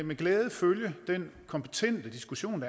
med glæde følge den kompetente diskussion